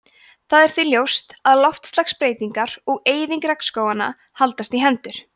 það er því ljóst að loftslagsbreytingar og eyðing regnskóganna haldast í hendur